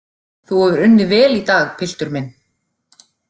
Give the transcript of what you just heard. Þú hefur unnið vel í dag, piltur minn.